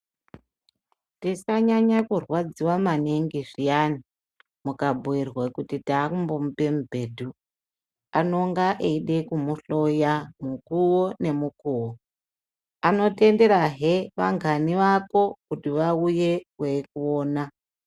Tisanyanya kurwadziwa maningi zviyani mukabhirwa kuti takumbomupa mubhedhu anenge eida kumuhloya mukuwo nemukuwo anotenderahe angani ako kuti vauye veikuona.